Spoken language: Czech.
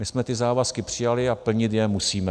My jsme ty závazky přijali a plnit je musíme.